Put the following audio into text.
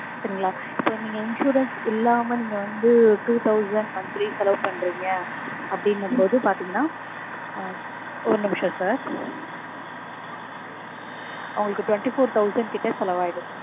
சரிங்களா? இப்போ நீங்க insurance இல்லாம நீங்க வந்து two thousand monthly செலவு பண்றீங்க அப்டீனும்போது பாத்தீங்கனா ஒரு நிமிஷம் sir உங்களுக்கு twenty four thousand கிட்ட செலவாய்டும்